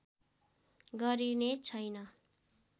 गरिने छैन